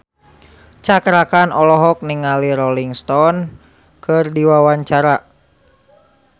Cakra Khan olohok ningali Rolling Stone keur diwawancara